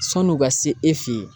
San'u ka se e fe ye